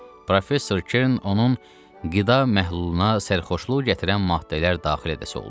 Professor Kern onun qida məhluluna sərxoşluq gətirən maddələr daxil edəsi oldu.